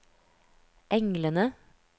englene